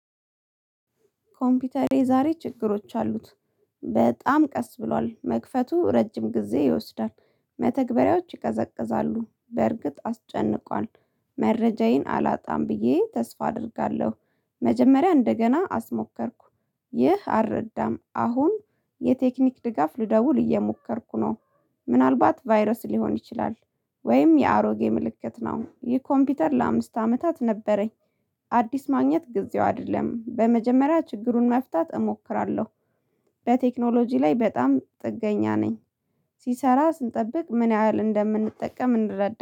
ኮምፒውተሬ ዛሬ ችግሮች አሉት በጣም ቀስ ብሏል መክፈቱ ረጅም ጊዜ ይወስዳል መተግበሪያዎች ይቀዘቅዛሉ በእርግጥ አስጨንቋል። መረጃዬን አላጣም ብዬ ተስፋ አደርጋለሁ። መጀመሪያ እንደገና አስሞከርኩ። ይህ አልረዳም አሁን የቴክኒክ ድጋፍ ልደውል እየሞከርኩ ነው። ምናልባት ቫይረስ ሊሆን ይችላል። ወይም የአሮጌ ምልክት ነው ይህ ኮምፒውተር ለአምስት አመታት ነበረኝ። አዲስ ማግኘት ጊዜው አይደለም በመጀመሪያ ችግሩን መፍታት እሞክራለሁ። በቴክኖሎጂ ላይ በጣም ጥገኛ ነኝ። ሲሰራ ስንጠብቅ ምን ያህል እንደምንጠቀም እንረዳለን